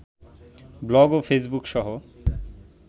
blog ও ফেইসবুকসহ